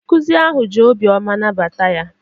Ndị nkụzi ahụ ji obioma nabata ya.